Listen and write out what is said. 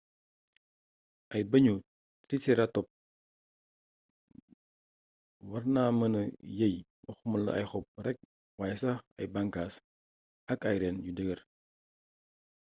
ay bëñu triceratops warna mëna yeey waxumala ay xob rekk wayé sax ay banxaas ak ay reeen yu dëggër